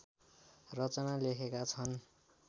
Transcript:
रचना लेखेका छन्